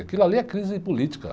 Aquilo ali é crise política.